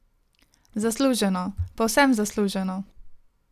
Zasluženo, povsem zasluženo.